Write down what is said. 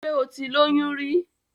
Ṣé o ti lóyún rí?